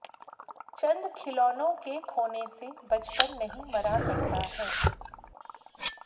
चंद् खिलौनों के खोने से बचपन नहीं मरा करता है